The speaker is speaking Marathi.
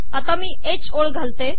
आता मी ह ओळ घालते